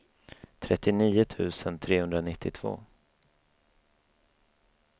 trettionio tusen trehundranittiotvå